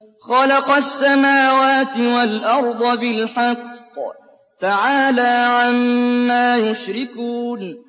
خَلَقَ السَّمَاوَاتِ وَالْأَرْضَ بِالْحَقِّ ۚ تَعَالَىٰ عَمَّا يُشْرِكُونَ